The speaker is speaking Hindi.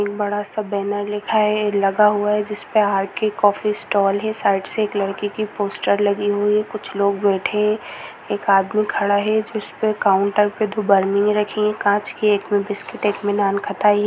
एक बड़ा- सा बैनर लिखा है लगा है हुआ है जिसपे आर. के कॉफी स्टॉल है साइड से एक लड़की की पोस्टर लगी हुई है कुछ लोग बैठे है एक आदमी खड़ा है जिसपे काउंटर पर दो बर्निंगे रखी है काँच की एक में बिस्किट एक में नान खटाई हैं।